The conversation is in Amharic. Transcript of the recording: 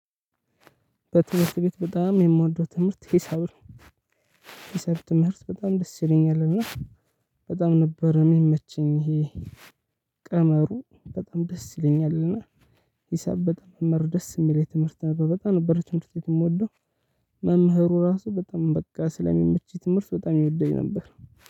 በትምህርት ቤት በጣም የምወደው ትምህርት ሂሳብ ነው። የሂሳብ ትምህርት በጣም ደስ ይለኛል እና በጣም ነበር የሚመቸኝ ይሄ ቀመሩ በጣም ደስ ይለኛል እና መምህር ደስ የሚለው የትምህርት በጣም ነበር ትምህርት ቤት የምወደው። መምህሩ ራሱ በጣም በቃ ስለሚመች ትምህርት በጣም ይወድድ ነበር።